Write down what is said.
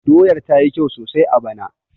Doyar ta yi kyau sosai a bana